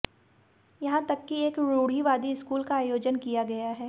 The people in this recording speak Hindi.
यहां तक कि एक रूढ़िवादी स्कूल का आयोजन किया गया है